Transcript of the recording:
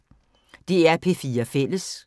DR P4 Fælles